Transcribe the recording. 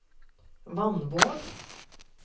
Vannvåg